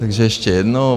Takže ještě jednou.